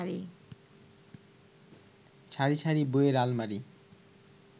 সারি সারি বইয়ের আলমারি